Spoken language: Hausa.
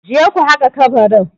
Je ku haƙa kabarin?